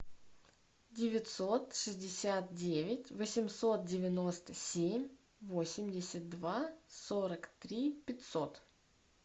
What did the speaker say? девятьсот шестьдесят девять восемьсот девяносто семь восемьдесят два сорок три пятьсот